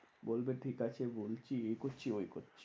বলবে ঠিকাছে বলছি এইকরছি ওইকরছি।